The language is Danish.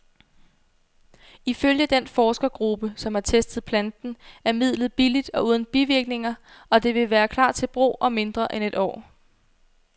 Ifølge den forskergruppe, som har testet planten, er midlet billigt og uden bivirkninger, og det vil klar til brug om mindre end et år.